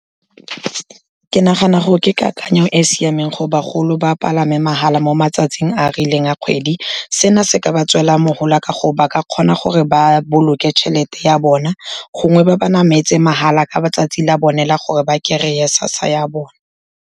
Ke nagana gore ke kakanyo e e siameng gore bagolo ba palame mahala mo matsatsing a a rileng a kgwedi, seno se ka ba tswela ka gore ba ka kgona gore ba boloke tšhelete ya bona, gongwe ba ba nametse mahala ka 'tsatsi a bone la gore ba kry-e SASSA ya bone.